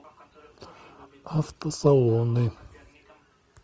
автосалоны